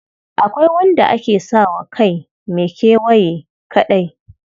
Akwai wanda ake sa wa kai mai kewaye kaɗai.